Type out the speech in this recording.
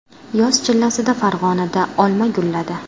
Yoz chillasida Farg‘onada olma gulladi.